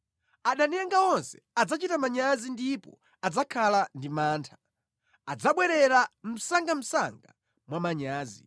Adani anga onse adzachita manyazi ndipo adzakhala ndi mantha; adzabwerera msangamsanga mwa manyazi.